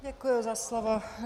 Děkuju za slovo.